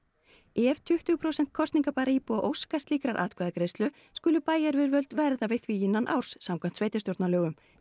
ef tuttugu prósent kosningabærra íbúa óska slíkrar atkvæðagreiðslu skulu bæjaryfirvöld verða við því innan árs samkvæmt sveitarstjórnarlögum